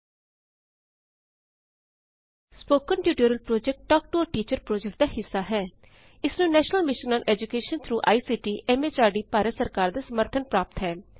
spoken tutorial project talk to a teacher project ਦਾ ਹਿੱਸਾ ਹੈ ਇਸਨੂੰ national mission on education through I C T M H R D Bharat ਸਰਕਾਰ ਦਾ ਸਮਰਥਨ ਪ੍ਰਾਪਤ ਹੈ